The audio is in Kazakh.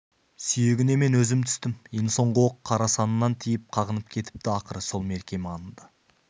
сүйегіне мен өзім түстім ең соңғы оқ қара санынан тиіп қағынып кетіпті ақыры сол мерке маңында